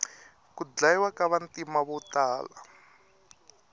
ku dyayiwa ka vantima votala